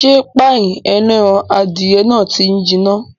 Ṣé páì ẹlẹ́ran adìyẹ náà ti jiná